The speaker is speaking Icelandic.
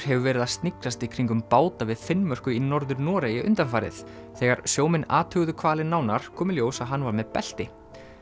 hefur verið að sniglast í kringum báta við Finnmörku í Norður Noregi undanfarið þegar sjómenn athuguðu hvalinn nánar kom í ljós að hann var með belti